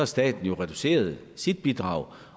staten reduceret sit bidrag